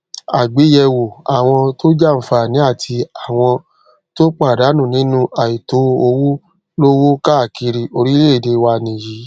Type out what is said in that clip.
àgbéyẹwò àwọn tó jàǹfààní àti àwọn tó pàdánù nínú àìtó owó lówó káàkiri orílẹèdè wa nìyí